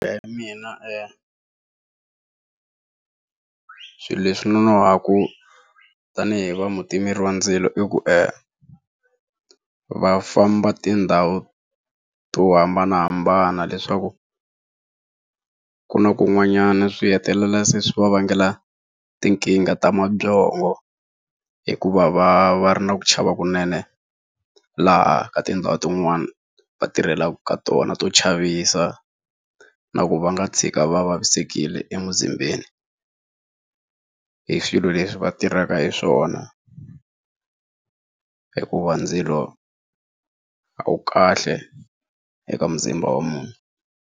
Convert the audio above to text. mina e swilo leswi nonohaka tanihi va mutimeri wa ndzilo i ku e va famba tindhawu to hambanahambana leswaku ku na kun'wanyana swi hetelela se swi va vangela tinkingha ta mabyongo hikuva va va ri na ku chava kunene laha ka tindhawu tin'wani va tirhelaka ka tona to chavisa na ku va nga tshika va vavisekile emuzimbeni hi swilo leswi va tirhaka hi swona hikuva ndzilo a wu kahle eka muzimba wa munhu.